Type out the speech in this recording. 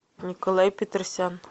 николай петросян